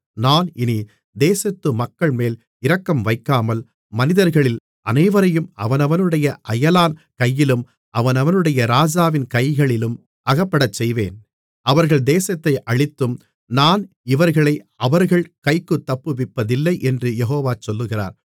நான் இனி தேசத்து மக்கள்மேல் இரக்கம் வைக்காமல் மனிதர்களில் அனைவரையும் அவனவனுடைய அயலான் கையிலும் அவனவனுடைய ராஜாவின் கைகளிலும் அகப்படச்செய்வேன் அவர்கள் தேசத்தை அழித்தும் நான் இவர்களை அவர்கள் கைக்குத் தப்புவிப்பதில்லையென்று யெகோவா சொல்லுகிறார்